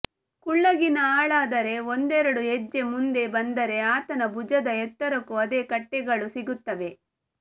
ಕುಳ್ಳಗಿನ ಆಳಾದರೆ ಒಂದೆರಡು ಹೆಜ್ಜೆ ಮುಂದೆ ಬಂದರೆ ಆತನ ಭುಜದ ಎತ್ತರಕ್ಕೂ ಅದೇ ಕಟ್ಟೆಗಳು ಸಿಗುತ್ತವೆ